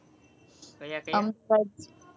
ક્યાં ક્યાં